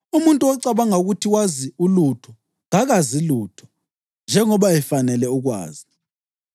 Umuntu ocabanga ukuthi wazi ulutho kakazi lutho njengoba efanele ukwazi.